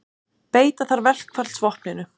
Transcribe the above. Beita þarf verkfallsvopninu